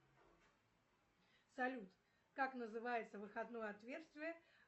салют как называется выходное отверстие